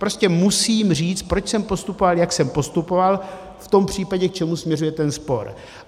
Prostě musím říct, proč jsem postupoval, jak jsem postupoval v tom případě, k čemu směřuje ten spor.